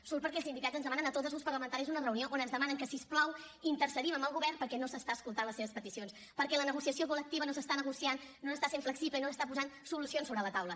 surt perquè els sindicats ens demanen a tots els grups parlamentaris una reunió on ens demanen que si us plau intercedim amb el govern perquè no s’estan escoltant les seves peticions perquè la negociació col·lectiva no s’està negociant no s’està sent flexible i no s’estan posant solucions sobre la taula